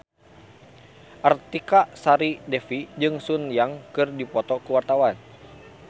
Artika Sari Devi jeung Sun Yang keur dipoto ku wartawan